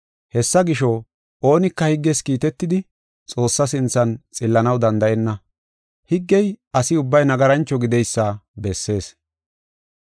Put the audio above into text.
Hessa gisho, oonika higges kiitetidi Xoossaa sinthan xillanaw danda7enna. Higgey asi ubbay nagarancho gideysa bessees.